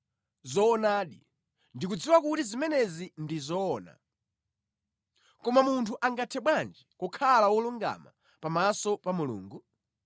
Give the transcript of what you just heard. “Zoonadi, ndikudziwa kuti zimenezi ndi zoona. Koma munthu angathe bwanji kukhala wolungama pamaso pa Mulungu?